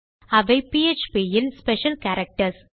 அவை பிஎச்பி இல் special characters